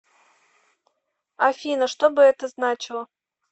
афина что бы это значило